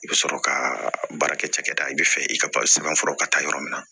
I bɛ sɔrɔ ka baara kɛ cakɛda i bɛ fɛ i ka sɛbɛnfura ka taa yɔrɔ min na